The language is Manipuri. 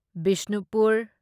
ꯕꯤꯁꯅꯨꯄꯨꯔ